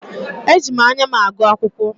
Eji m anya m agụ akwụkwọ.